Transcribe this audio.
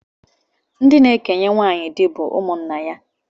Ndị na-ekenye nwaanyị di bụ ndị ụmụnna nna ya